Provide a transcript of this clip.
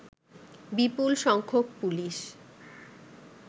বিপুল সংখ্যক পুলিশ